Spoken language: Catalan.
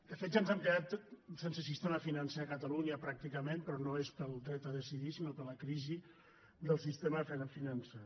de fet ja ens hem quedat sense sistema fi·nancer a catalunya pràcticament però no és pel dret a decidir sinó per la crisi del sistema financer